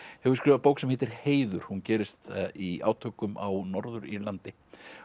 hefur skrifað bók sem heitir Heiður hún gerist í átökum á Norður Írlandi